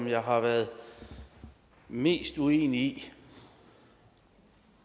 jeg har været mest uenig